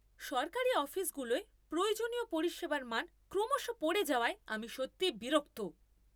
সরকারি অফিসগুলোয় প্রয়োজনীয় পরিষেবার মান ক্রমশ পড়ে যাওয়ায় আমি সত্যিই বিরক্ত।